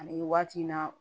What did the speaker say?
Ani waati in na